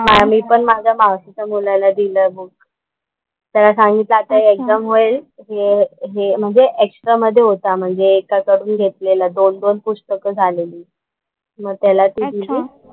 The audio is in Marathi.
मी पण माझ्या मावशीच्या मुलाला दिलंय बुक. त्याला सांगितलं आता एक्झाम होईल हे हे म्हणजे एक्स्ट्रा मध्ये होता म्हणजे एका कडून घेतलेला, दोन दोन पुस्तकं झालेली. मग त्याला ती दिली.